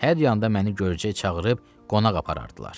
Hər yanda məni görcək çağırıb qonaq aparardılar.